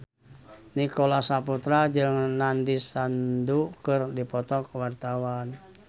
Nicholas Saputra jeung Nandish Sandhu keur dipoto ku wartawan